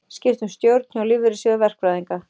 Skipt um stjórn hjá Lífeyrissjóði verkfræðinga